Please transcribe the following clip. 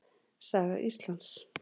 Saga Íslands.